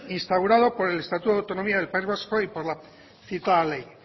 instaurado por el estatuto de autonomía del país vasco y por la citada ley